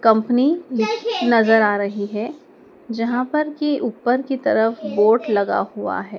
Company नजर आ रही है जहां पर की ऊपर की तरफ बोर्ड लगा हुआ है।